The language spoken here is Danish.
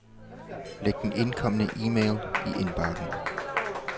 Læg den indkomne e-mail i indbakken.